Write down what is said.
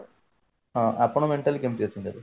ହଁ ଆପଣ mentally କେମତି ଅଛନ୍ତି ଏବେ